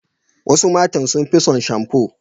Wasu matan sun fi son shamfo.